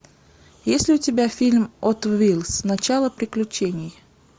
есть ли у тебя фильм хот вилс начало приключений